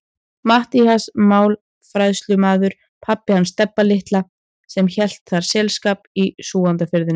Matthías málafærslumaður, pabbi hans Stebba litla sem hélt þér selskap í Súgandafirðinum.